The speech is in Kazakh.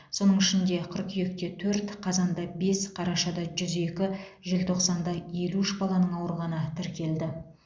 соның ішінде қыркүйекте төрт қазанда бес қарашада жүз екі желтоқсанда елу үш баланың ауырғаны тіркелді